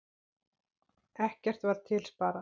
Ekkert var til sparað.